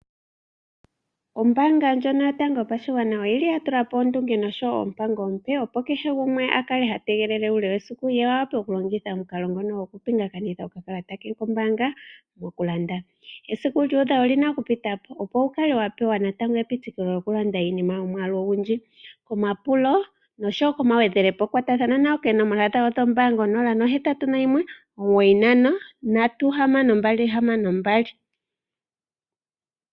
Ombaanga ndjono yotango yopashigwana oya tula po ondunge nosho wo oompango oompe, opo kehe gumwe a kale ha tegelele uule wesiku, opo a wape okulongitha omukalo ngono gokupingakanitha okakalata ke kombaanga okulanda. Esiku lyu udha oli na okupita po, opo wu kale wa pewa natango epitikilo lyokulanda iinima yomwaalu ogundji. Omapulo noshowo omagwedhelepo kwatathana nayo koonomola dhombaanga 081 9536262.